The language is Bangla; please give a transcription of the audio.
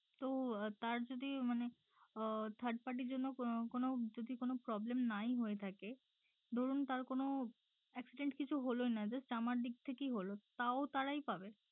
তো তাঁর যদি মানে আহ third party র জন্য কো কোনো যদি কোনো problem নাই হয়ে থাকে ধরুন তার কোনো accident কিছু হলোই না just আমার দিক থেকেই হলো তাও তারাই পাবে?